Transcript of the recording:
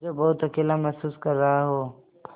जो बहुत अकेला महसूस कर रहा हो